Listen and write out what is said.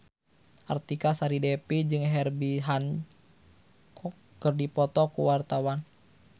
Artika Sari Devi jeung Herbie Hancock keur dipoto ku wartawan